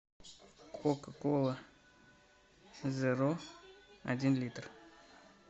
кока кола зеро один литр